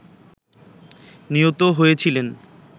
নিহত হয়েছিলেন